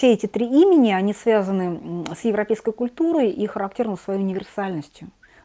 все эти три имени они связаны с европейской культурой и характерны своей универсальностью